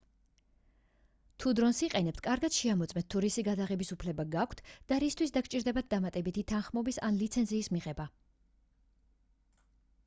თუ დრონს იყენებთ კარგად შეამოწმეთ თუ რისი გადაღების უფლება გაქვთ და რისთვის დაგჭირდებათ დამატებით თანხმობის ან ლიცენზიის მიღება